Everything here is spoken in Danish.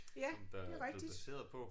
Ja det rigtigt